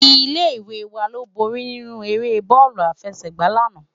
Ilé iwé wá ló bóri ninú éré bòlú àfèsègbá làná